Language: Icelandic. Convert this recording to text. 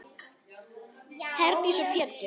Herdís og Pétur.